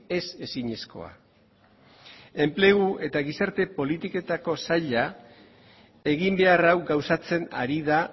ez ezinezkoa enplegu eta gizarte politiketako saila eginbehar hau gauzatzen ari da